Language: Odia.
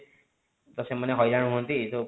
ତ ସେମାନେ ହଇରାଣ ହୁଅନ୍ତି